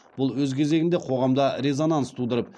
бұл өз кезегінде қоғамда резонанс тудырып